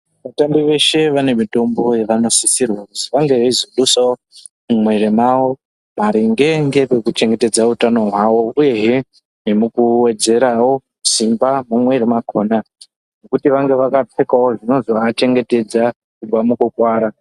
Vatana veshe vane mitombo yavanosisirwa kuzi vazodusawo mumwiri mwavo , maringe ngekuchengetedza utano hwavo, uyehe nemukuwedzerawo simba mumwiiri mwakhona, nekuti vange vakapfekawo, zvinozovachengetedza kubva mukurwara.